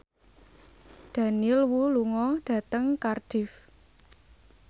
Daniel Wu lunga dhateng Cardiff